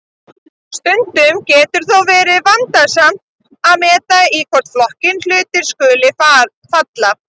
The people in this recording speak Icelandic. Stundum getur þó verið vandasamt að meta í hvorn flokkinn hlutir skuli falla.